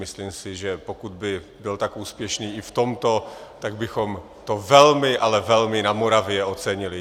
Myslím si, že pokud by byl tak úspěšný i v tomto, tak bychom to velmi, ale velmi na Moravě ocenili.